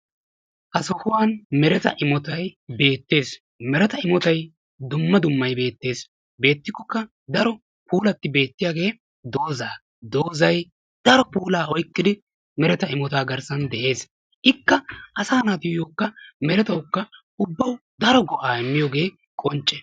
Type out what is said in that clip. Ha sohuwaan meretta imottay beettes, meretta imottay dumma dummay beettes, beettikokka daro puulatti beettiyagge dooza, doozay daro puulla oyqqiddi meretta imotta garssan dees, ikka asa naattuyokka merettawukka ubbawu daro go"a immiyogge qoncce.